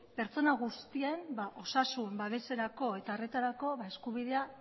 pertsona guztien osasun babeserako eta harretarako eskubidea